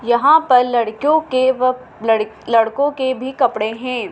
यहां पर लड़कियों के व लड़कों के भी कपड़े हैं।